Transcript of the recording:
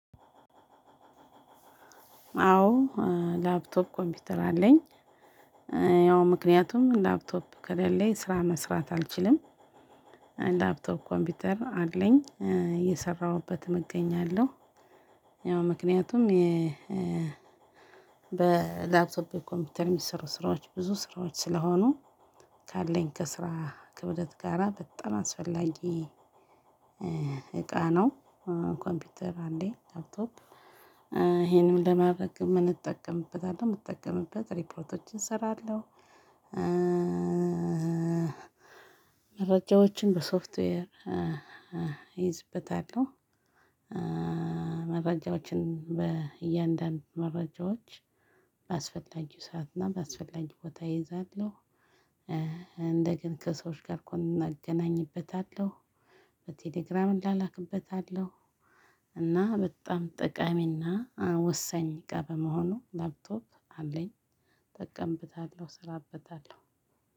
አዎ፣ ላፕቶፕ ኮምፒውተር አለኝ። ያው ምክንያቱም ላፕቶፕ ከሌለኝ ስራ መስራት አልችልም። ላፕቶፕ ኮምፒውተር አለኝ። እየሰራሁበትም እገኛለሁ። ያው ምክንያቱም በላፕቶፕ ኮምፒውተር የሚሰሩ ስራዎች ብዙ ስራዎች ስለሆኑ ካለኝ ከስራ ክብደት ጋራ በጣም አስፈላጊ እቃ ነው። ኮምፒውተር አንዴ ላፕቶፕ። ይሄንን ለማድረግ የምንጠቀምበት አለ። የምጠቀምበት ሪፕሮቶችን እሰራለሁ፣ መረጃዎችን በሶፍትዌር እይዝበታለሁ፣ መረጃዎችን በእያንዳንዱ መረጃዎች ባስፈላጊው ሰዓት እና ባስፈላጊው ቦታ እይዛለሁ። እንደገና ከሰዎች ጋር ኮን እገናኝበታለሁ፣ በቴሌግራም እላላክበታለሁ፣ እና በጣም ጠቃሚና ወሳኝ እቃ በመሆኑ ላፕቶፕ አለኝ፣ እጠቀምበታለሁ እሰራበታለሁ።